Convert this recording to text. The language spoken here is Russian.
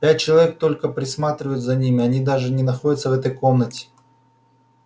пять человек только присматривают за ними они даже не находятся в этой комнате